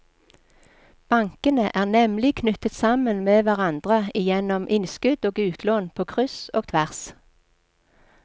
Bankene er nemlig knyttet sammen med hverandre gjennom innskudd og utlån på kryss og tvers.